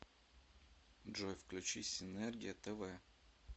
джой включи синергия тв